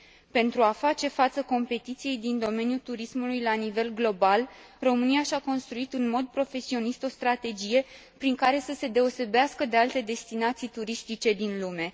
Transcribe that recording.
Pentru a face față concurenței din domeniul turismului la nivel global, România și a construit în mod profesionist o strategie prin care să se deosebească de alte destinații turistice din lume.